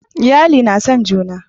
iyali na son juna